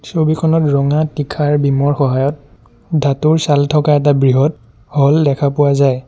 ছবিখনত ৰঙা তীখাৰ বিমৰ সহায়ত ধাতুৰ চাল থকা এটা বৃহৎ হল দেখা পোৱা যায়।